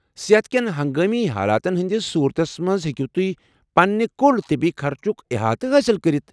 صحت كین ہنگٲمی حالاتن ہندِس صورتس منٛز ہیٚکو تُہۍ پنٛنہِ کل طبی خرچُك احاطہٕ حٲصل کٔرتھ ۔